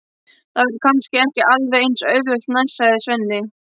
Það verður kannski ekki alveg eins auðvelt næst, sagði Svenni.